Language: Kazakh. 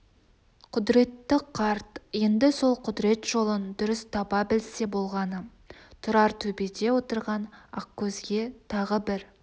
құдіретті қарт енді сол құдірет жолын дұрыс таба білсе болғаны тұрар төбеде отырған ақкөзге тағы бір